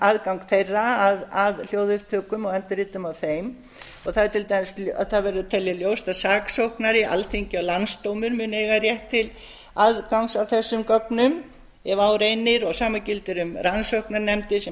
aðgang þeirra að hljóðupptökum og endurritum á þeim og það verður að telja ljóst að saksóknari alþingi og landsdómur munu eiga rétt til aðgangs að þessum gögnum ef á reynir og sama gildir um rannsóknarnefndir sem